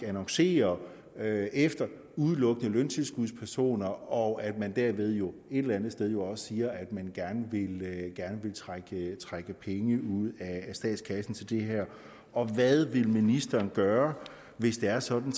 annoncerer efter løntilskudspersoner og at man derved jo et eller andet sted også siger at man gerne vil trække trække penge ud af statskassen til det her og hvad vil ministeren gøre hvis det er sådan